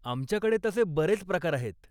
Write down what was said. आमच्याकडे तसे बरेच प्रकार आहेत.